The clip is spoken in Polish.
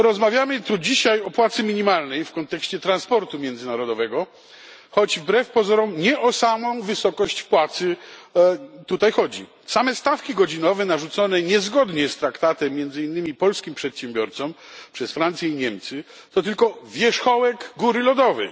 Rozmawiamy tu dzisiaj o płacy minimalnej w kontekście transportu międzynarodowego, choć wbrew pozorom nie o samą wysokość płacy tutaj chodzi. Same stawki godzinowe, narzucone niezgodnie z traktatem między innymi polskim przedsiębiorcom przez Francję i Niemcy, to tylko wierzchołek góry lodowej.